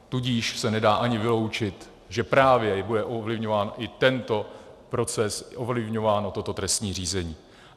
Tudíž se nedá ani vyloučit, že právě bude ovlivňován i tento proces, i ovlivňováno toto trestní řízení.